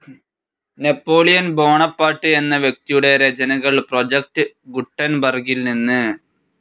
Napoleon Bonaparte എന്ന വ്യക്തിയുടെ രചനകൾ പ്രോജക്ട്‌ ഗുട്ടൻബർഗിൽനിന്ന്